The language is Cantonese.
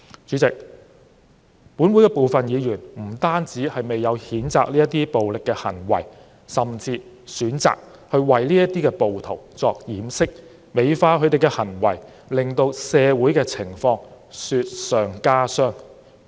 主席，本會部分議員不單未有譴責這些暴力行為，甚至選擇為暴徒掩飾，美化他們的行為，令到社會的情況雪上加霜。